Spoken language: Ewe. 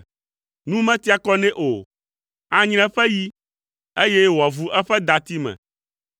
Nu metia kɔ nɛ o, anyre eƒe yi, eye wòavu eƒe dati me.